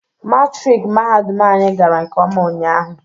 Matrik mahadum anyị gara nkeọma ụnyaahụ